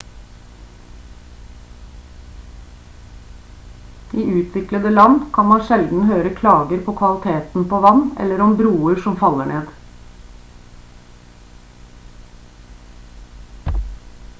i utviklede land kan man sjelden høre klager på kvaliteten på vann eller om broer som faller ned